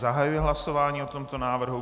Zahajuji hlasování o tomto návrhu.